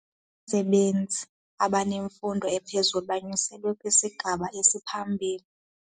Abasebenzi abanemfundo ephezulu banyuselwe kwisigaba esiphambili.